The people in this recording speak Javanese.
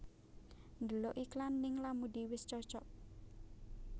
Ndelok iklan ning Lamudi wis cocok